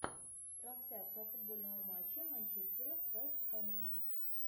трансляция футбольного матча манчестера с вест хэмом